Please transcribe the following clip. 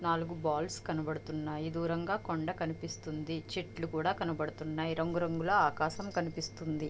నాలుగు బాల్స్ కనబడుతున్నాయి దూరంగా కొండ కనిపిస్తుంది. చెట్లు కూడా కనపడుతున్నాయి రంగురంగుల ఆకాశం కనిపిస్తుంది.